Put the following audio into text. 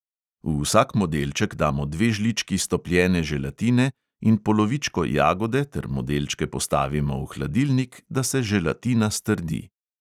V vsak modelček damo dve žlički stopljene želatine in polovičko jagode ter modelčke postavimo v hladilnik, da se želatina strdi.